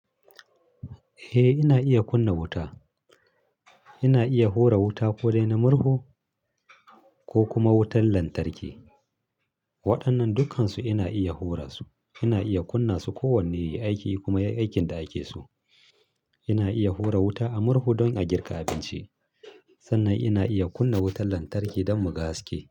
Eh ina iya kunna wuta. Ina iya hura wuta ko dai na murhu ko kuma wutar lantarki. Waɗannan dukkansu ina iya hura su. Ina iya kunna su ko wanne yayi aiki kuma yayi aikin da ake su. Ina iya hura wuta a murhu don a girka abinci. Sannan ina iya kunna wutar lantarki don mu ga haske.